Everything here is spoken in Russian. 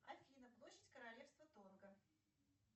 афина площадь королевства тонго